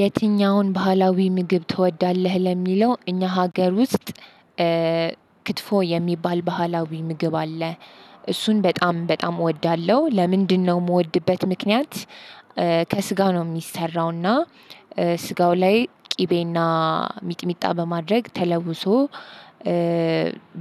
የትኛውን ባህላዊ ምግብ ትወዳለህ ለሚለው እኛ ሀገር ውስጥ ክትፎ የሚባል ባህላዊ ምግብ አለ እሱን በጣም በጣም እወዳለሁ። ለምንድነው የምወድበት ምክንያት ከስጋው ነው የሚሰራው እና ስጋው ላይ ቅቤና ሚጥሚጣ በማድረግ ተለውሶ